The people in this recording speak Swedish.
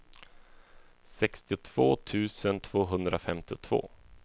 sextiotvå tusen tvåhundrafemtiotvå